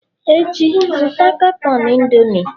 Echi, zụta katọn Indomie!